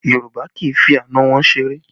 Yorùbá kì í fi àna wọn ṣeré